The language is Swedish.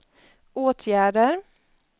åtgärder